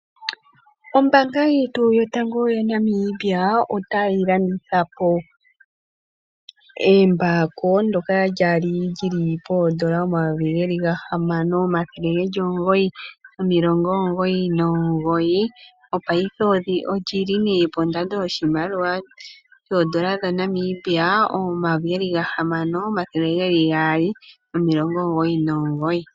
Ombaanga yetu yotango yaNamibia otayi landithapo embako lyoka lyali lyili poodola dhaNamibia omayovi gahamano, omathele omugoyi nomilongo omugoyi nomugoyi, mopaife olyili nee pondando yoshimaliwa shaNamibia shoodola omayovi geli gahamano, omathele geli gaali nomilongo omugoyi nomugoyi.